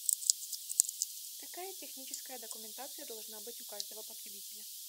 какая техническая документация должна быть у каждого потребителя